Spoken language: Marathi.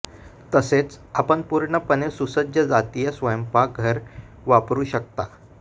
तसेच आपण पूर्णपणे सुसज्ज जातीय स्वयंपाकघर वापरू शकता